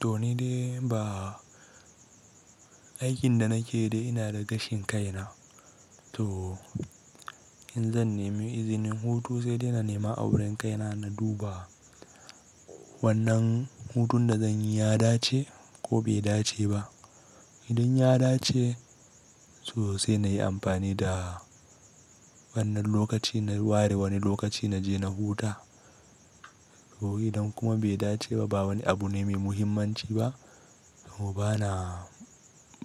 To ni dai ba, aikin da nake yi dai ina da gashin kaina. To in zan nemi izinin hutu sai dai na nema a wurin kaina na duba wannan hutun da zanyi ya dace ko bai dace ba. Idan ya dace, to sai nayi amfani da wannan lokaci na ware wane lokaci naje na huta. To idan kuma bai dace ba, ba wani abu ne mai muhimmanci ba, to bana,